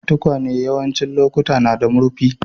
Tukwane yawancin lokatai na da murfi.